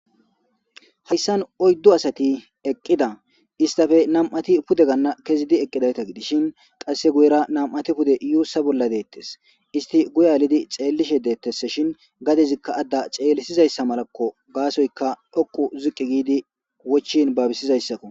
Hayisani oyidu asti eqida esitape namu'u asati pude gana kezidi eqidda gidishi qassi guyera nami'ati pude yusa bolla detesi istika guye alidi xelishe detesi shini gadezi ada xelisiza malako gasoyika dhoqu ziqi gidi wochini babisizayitaki